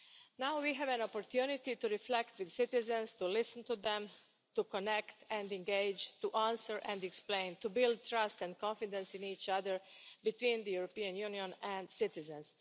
Now we have an opportunity to reflect with citizens, to listen to them, to connect and engage, to answer and explain, to build trust and confidence in each other between the European Union and citizens.